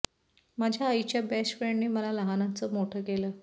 माझ्या आईच्या बेस्ट फ्रेंडने मला लहानाचं मोठं केलं